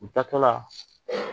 U taa tɔla